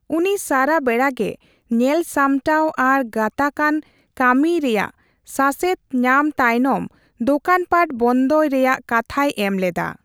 ᱩᱱᱤ ᱥᱟᱨᱟ ᱵᱮᱲᱟᱜᱮ ᱧᱮᱞ ᱥᱟᱢᱴᱟᱣ ᱟᱨ ᱜᱟᱛᱟᱜᱼᱟᱱ ᱠᱟ.ᱢᱤᱭ ᱨᱮᱭᱟᱜ ᱥᱟᱥᱮᱛ ᱧᱟᱢ ᱛᱟᱭᱱᱚᱢ ᱫᱳᱠᱟᱱᱯᱟᱴ ᱵᱚᱱᱫᱚᱭ ᱨᱮᱭᱟᱜ ᱠᱟᱛᱷᱟᱭ ᱮᱢ ᱞᱮᱫᱟ ᱾